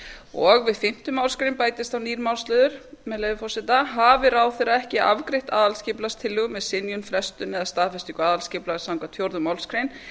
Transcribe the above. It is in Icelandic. og við fimmtu málsgrein bætist þá nýr málsliður með leyfi forseta hafi ráðherra ekki afgreitt aðalskipulagstillögu með synjun frestun eða staðfestingu aðalskipulags samkvæmt fjórðu málsgrein